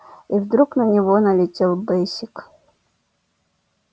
и вдруг на него налетел бэсик